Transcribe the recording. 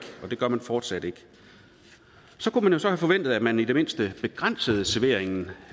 og det gør man fortsat ikke så kunne man så have forventet at man i det mindste begrænsede serveringen